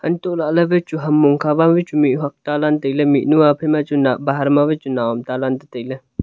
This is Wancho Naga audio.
hantoh lahle wai chu ham mong kha ma chu wai mih huak ta lan taile mihnu a hantoh lahle bahar ma wai chu nao am tanlan tetai le.